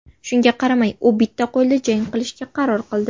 Shunga qaramay, u bitta qo‘lda jang qilishga qaror qildi.